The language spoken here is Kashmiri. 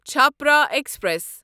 چھپرا ایکسپریس